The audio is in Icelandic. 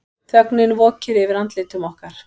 Þögnin vokir yfir andlitum okkar.